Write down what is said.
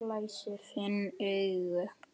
Finn augun.